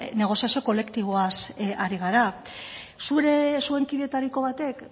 negoziazio kolektiboaz ari gara zuen kidetariko batek